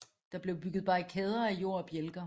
Der blev bygget barrikader af jord og bjælker